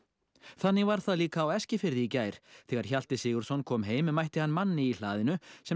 þannig var það líka á Eskifirði í gær þegar Hjalti Sigurðsson kom heim mætti hann manni í hlaðinu sem